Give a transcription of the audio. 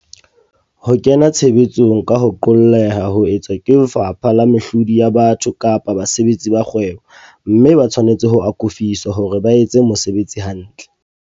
Ho kenya tshebetsong ka ho qolleha ho etswa ke lefapha la mehlodi ya batho kapa basebetsi ba kgwebo, mme ba tshwanetse ho akofiswa hore ba etse mosebetsi hantle.